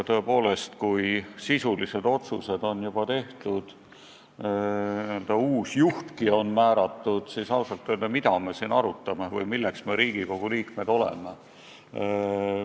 Tõepoolest, kui sisulised otsused on juba tehtud, n-ö uus juhtki on määratud, siis ausalt öelda, mida me siin arutame või milleks me üldse Riigikogu liikmed oleme.